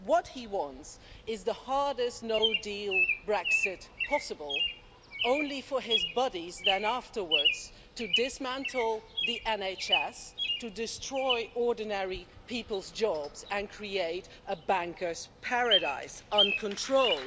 What he wants is the hardest no deal Brexit possible, only for his buddies then afterwards to dismantle the NHS, to destroy ordinary people's jobs and to create a bankers' paradise uncontrolled.